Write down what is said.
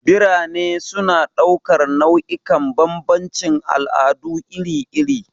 Birane suna ɗaukar nau'ikan bambancin al'adu iri-iri.